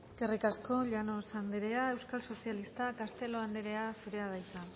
eskerrik asko llanos andrea euskal sozialista castelo andrea zurea da hitza